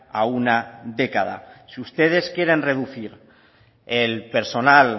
a una década si ustedes quieren reducir el personal